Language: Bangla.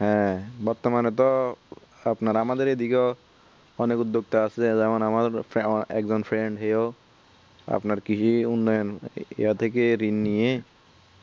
হ্যাঁ বর্তমানে তো আপনার আমাদের এদিকেও অনেক উদ্যোগ টা আসে যেমন আমার একজন friend হেয় আপনার কৃষি উন্নয়ন এয়া থেকে রিন্ নিয়ে